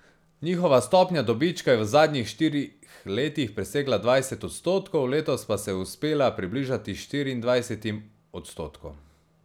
Njihova stopnja dobička je v zadnjih štirih letih presegala dvajset odstotkov, letos pa se je uspela približati štiriindvajsetim odstotkom.